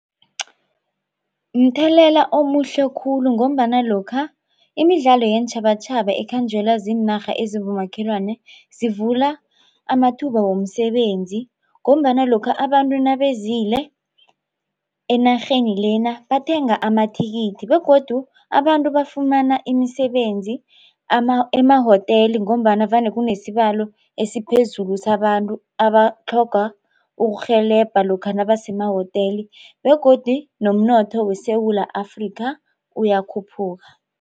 Mthelela omuhle khulu ngombana lokha imidlalo yeentjhabatjhaba ikhanjelwa ziinarha ezibomakhelwana zivula amathuba womsebenzi ngombana lokha abantu nabezile enarheni lena bathenga amathikithi begodu abantu bafumana imisebenzi emahoteli ngombana vane kunesibalo esiphezulu sabantu abatlhoga ukurhelebha lokha nabasemahoteli begodu nomnotho weSewula Afrika uyakhuphuka.